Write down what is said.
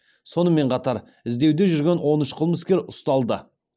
сонымен қатар іздеуде жүрген он үш қылмыскер ұсталды